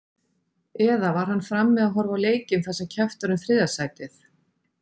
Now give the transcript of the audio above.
Eða var hann frammi að horfa á leikinn þar sem keppt var um þriðja sætið?